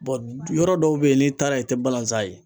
yɔrɔ dɔw be yen n'i taara yen i tɛ balanzan ye.